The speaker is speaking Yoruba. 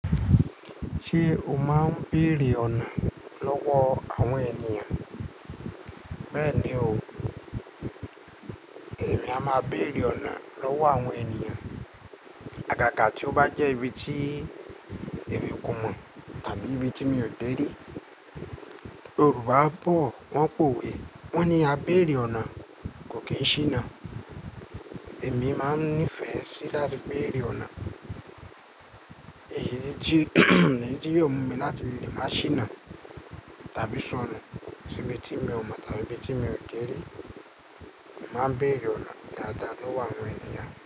Ṣé o máa ń béèrè ọ̀nà lọ́wọ́ àwọn ènìyàn? Bẹ́ẹ̀ni o, èmi a máa béèrè ọ̀nà lọ́wọ́ àwọn ènìyàn. Àgàgà tí ó bá jẹ́ ibi tí èmi kò mọ̀ tàbí ibi tí mi ò dé rí, Yorùbá bọ̀ wọ́n pòwe wọ́n ní "a béèrè ọ̀nà kò kí n ṣíná". Èmi máa ń nífẹ̀ẹ́ sí láti béèrè ọ̀nà, èyí ni jí èyí ni jí yóò mú mi láti lè máa ṣíná tàbí sọnù sibi tí mi ò mọ̀ tàbí ibi tí mi ò dé rí. Máa ń béèrè ọ̀nà dáadáa lọ́wọ́ àwọn ènìyàn.